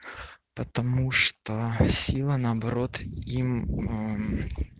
потому что сила наоборот им аа